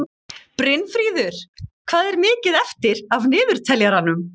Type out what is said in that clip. Brynfríður, hvað er mikið eftir af niðurteljaranum?